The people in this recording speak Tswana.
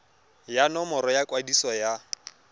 ya nomoro ya kwadiso ya